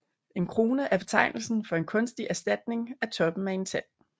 En krone er betegnelse for en kunstig erstatning af toppen af en tand